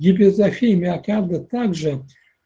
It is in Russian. гипертрофия миокарда также